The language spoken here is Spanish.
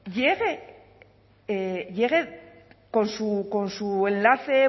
llegue con su enlace